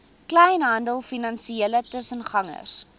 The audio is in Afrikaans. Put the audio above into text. kleinhandel finansiële tussengangers